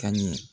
Ka ɲɛ